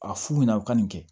A f'u ɲɛna u ka nin kɛ